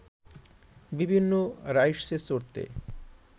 বিভিন্ন রাইডসে চড়তে